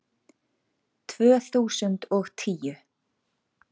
Tvö þúsund og tíu